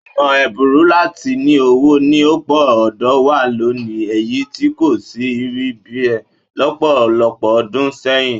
Ọ̀nà ẹ̀bùrú láti ní owó ni ọ̀pọ̀ ọ̀dọ́ ń wá lónìí èyí tí kò sì rí bẹ́ẹ̀ lọ́pọ̀lọpọ̀ ọdún sẹ́yìn